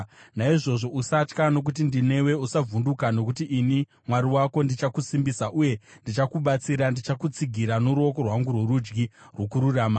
Naizvozvo usatya, nokuti ndinewe; usavhunduka, nokuti ndini Mwari wako. Ndichakusimbisa uye ndichakubatsira; ndichakutsigira noruoko rwangu rworudyi rwokururama.